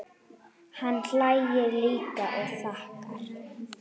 Hann hlær líka og þakkar.